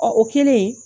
Ɔ o kɛlen